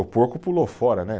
O porco pulou fora, né?